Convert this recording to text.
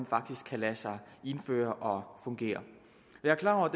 faktisk kan lade sig indføre fungere jeg er klar over at